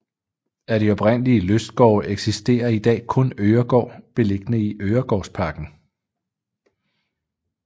Af de oprindelige lystgårde eksisterer i dag kun Øregaard beliggende i Øregårdsparken